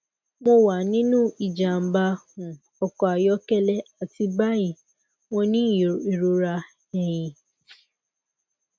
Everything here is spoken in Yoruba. mo wa ninu ijamba um ọkọ ayọkẹlẹ ati bayi mo ni irora ẹhin